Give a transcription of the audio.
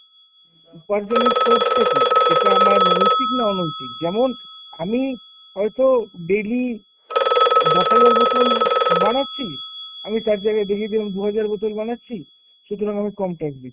উপার্জনের source টা কী? সেটা আমার নৈতিক না অনৈতিক? যেমন আমি হয়তো daily দশ হাজার বোতল বানাচ্ছি, আমি তার জায়গায় দেখিয়ে দিলাম দু'হাজার বোতল বানাচ্ছি। সুতরাং, আমি কম tax দিচ্ছি।